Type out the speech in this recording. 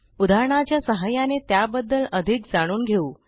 उदाहरणाच्या सहाय्याने त्याबद्दल अधिक जाणून घेऊ